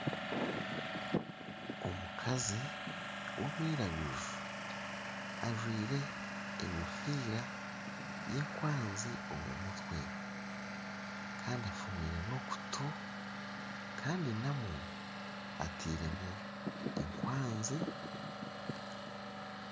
Omukazi ow'omwiraguju ajwaire enkofiira yenkwanzi omu mutwe kandi afuumwire nana okutu kandi namwo atairemu ekwanzi